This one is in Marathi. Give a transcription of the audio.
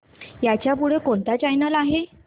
ह्याच्या पुढे कोणता चॅनल आहे